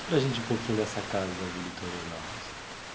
Para gente um pouquinho dessa casa da Vila Itororó.